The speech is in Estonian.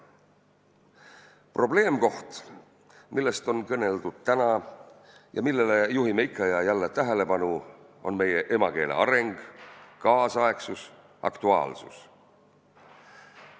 Probleemkoht, millest on kõneldud täna ja millele juhime ikka ja jälle tähelepanu, on meie emakeele areng, tänapäevasus, aktuaalsus.